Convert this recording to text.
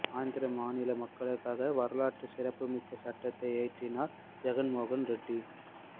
ஆந்திர மாநில மக்களுக்காக வரலாற்று சிறப்புமிக்க சட்டத்தை இயற்றினார் ஜெகன்மோகன் ரெட்டி